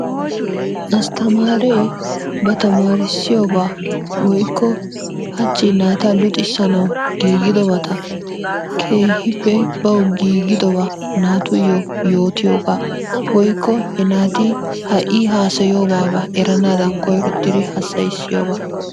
Astamaaree ba tamarissiyooba woykko hachi naata luxissanawu giigidobata keehippe baw giigidoba naatuyyo yootiyooga woykko he naati ha I hassayiyoba erannadan koyrottidi hassayssiyooba.